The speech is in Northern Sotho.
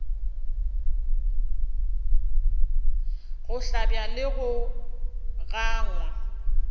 go hlabja le go gangwa